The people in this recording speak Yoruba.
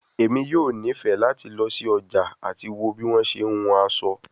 Emi yoo nifẹ lati lọ si ọja ati wo bi wọn ṣe hun aso